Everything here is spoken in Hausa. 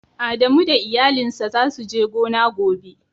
Adamu da iyalin sa za su je gona gobe.